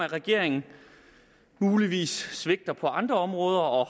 regeringen muligvis svigter på andre områder og